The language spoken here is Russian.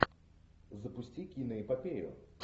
запусти киноэпопею